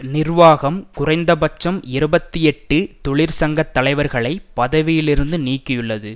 நிர்வாகம் குறைந்தபட்சம் இருபத்தி எட்டு தொழிற்சங்கத்தலைவர்களை பதவியிலிருந்து நீக்கியுள்ளது